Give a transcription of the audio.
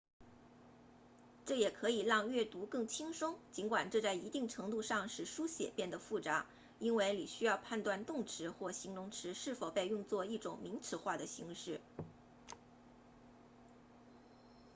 这也可以让阅读更轻松尽管这在一定程度上使书写变得复杂因为你需要判断动词或形容词是否被用作一种名词化的形式